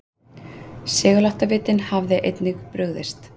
Seguláttavitinn hafði einnig brugðist.